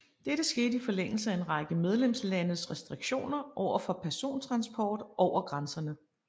Dette skete i forlængelse af en række medlemslandes restriktioner overfor persontransport over grænserne